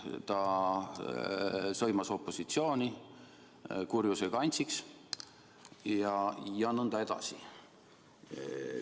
Ta sõimas opositsiooni kurjuse kantsiks ja nõnda edasi.